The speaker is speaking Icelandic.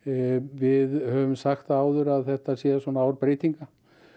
við höfum sagt það áður að þetta sé ár breytinga